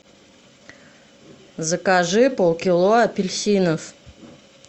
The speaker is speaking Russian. закажи полкило апельсинов